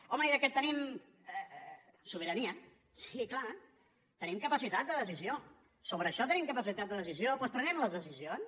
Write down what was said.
home ja que tenim sobirania sí clar tenim capacitat de decisió sobre això tenim capacitat de decisió doncs prenguem les decisions